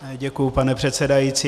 Děkuju, pane předsedající.